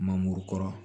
Mangoro kɔrɔ